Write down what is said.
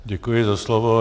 Děkuji za slovo.